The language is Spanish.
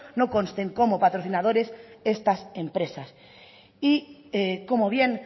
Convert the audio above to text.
no consten como patrocinadores estas empresas y como bien